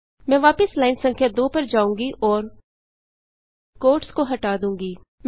मैं वापस लाइन संख्या 2 पर जाऊँगी और क्वोट्स को हटा दूँगी